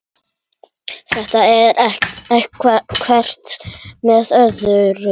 Þetta vinnur hvert með öðru.